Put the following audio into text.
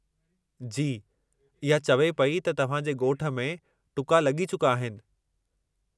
जी, इहा चवे पेई त तव्हां जे ॻोठ में टुका लॻी चुका आहिनि।